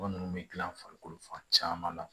Mɔgɔ ninnu bɛ gilan farikolo fan caman la